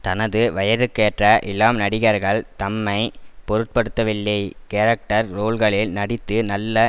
தனது வயதுக்கேற்ற இளம் நடிகர்கள் தம்மை பொருட்படுத்தவில்லை கேரக்டர் ரோல்களில் நடித்து நல்ல